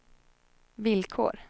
villkor